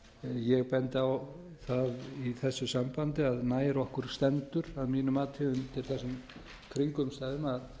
ég bendi á það í þessu sambandi að nær okkur stendur að mínu mati undir þessum kringumstæðum að